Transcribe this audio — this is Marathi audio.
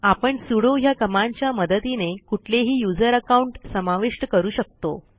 आपण सुडो ह्या कमांडच्या मदतीने कुठलेही यूझर अकाउंट समाविष्ट करू शकतो